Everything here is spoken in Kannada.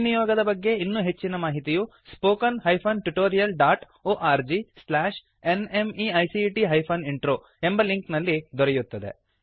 ಈ ನಿಯೋಗದ ಬಗ್ಗೆ ಇನ್ನೂ ಹೆಚ್ಚಿನ ಮಾಹಿತಿಯು spoken hyphen tutorial dot O R G slash N M E I C T hyphen intro ಎಂಬ ಲಿಂಕ್ ನಲ್ಲಿ ದೊರೆಯುತ್ತದೆ